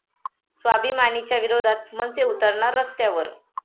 स्वाभिमानी'च्या विरोधात मनसे उतरणार रस्त्यावर